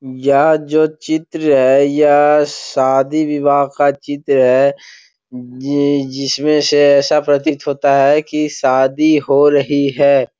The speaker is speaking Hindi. यह जो चित्र है यह शादी विवाह का चित्र है ये जिसमे से ऐसा प्रतीत होता है की शादी हो रही है।